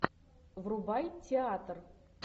врубай театр